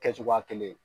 Kɛ cogoya kelen ye